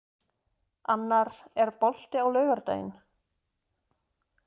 Annar, er bolti á laugardaginn?